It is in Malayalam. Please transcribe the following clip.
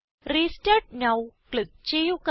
റെസ്റ്റാർട്ട് നോവ് ക്ലിക്ക് ചെയ്യുക